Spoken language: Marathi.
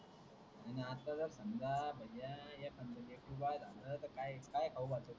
भैया एखाद लेकरू बाळ झालं तर काय खाऊ घालत्यात